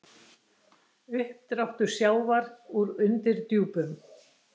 Uppdráttur sjávar úr undirdjúpum